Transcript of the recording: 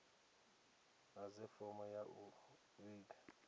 ḓadze fomo ya u vhiga